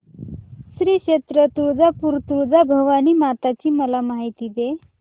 श्री क्षेत्र तुळजापूर तुळजाभवानी माता ची मला माहिती दे